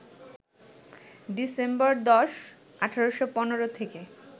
December ১০, ১৮১৫ থেকে